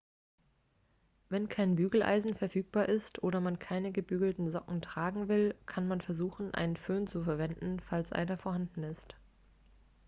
wenn kein bügeleisen verfügbar ist oder man keine gebügelten socken tragen will kann man versuchen einen föhn zu verwenden falls einer vorhanden ist